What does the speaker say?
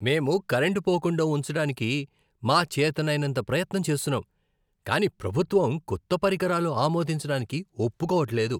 మేము కరెంటు పోకుండా ఉంచడానికి మా చేతనైనంత ప్రయత్నం చేస్తున్నాం కాని ప్రభుత్వం కొత్త పరికరాలు ఆమోదించడానికి ఒప్పుకోవట్లేదు.